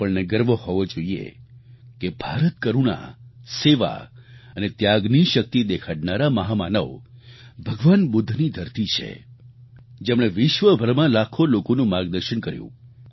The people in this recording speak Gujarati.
આપણને ગર્વ હોવો જોઈએ કે ભારત કરૂણા સેવા અને ત્યાગની શક્તિ દેખાડનારા મહામાનવ ભગવાન બુદ્ધની ધરતી છે જેમણે વિશ્વભરમાં લાખો લોકોનું માર્ગદર્શન કર્યું